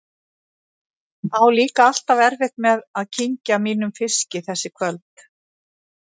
Á líka alltaf erfitt með að kyngja mínum fiski þessi kvöld.